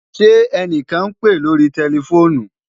Ṣẹ ẹnikan n pe lórí tẹlifoonù?